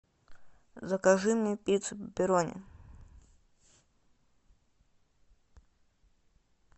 закажи мне пиццу пепперони